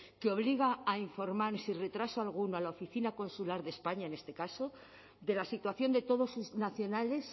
que obliga a informar sin retraso alguno a la oficina consular de españa en este caso de la situación de todos sus nacionales